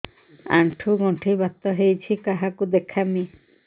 ଆଣ୍ଠୁ ଗଣ୍ଠି ବାତ ହେଇଚି କାହାକୁ ଦେଖାମି